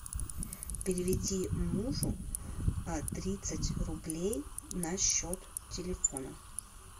переведи мужу тридцать рублей на счет телефона